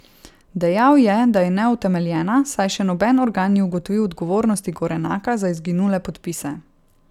Dejal je, da je neutemeljena, saj še noben organ ni ugotovil odgovornosti Gorenaka za izginule podpise.